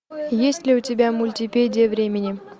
есть ли у тебя мультипедия времени